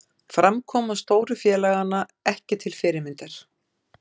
Framkoma stóru félaganna ekki til fyrirmyndar